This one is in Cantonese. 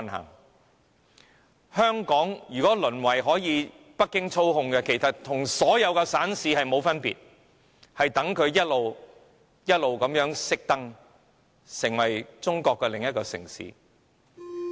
如果香港淪為被北京操控，其實與所有省市並無分別，只能等着逐漸關燈，成為中國另一個城市......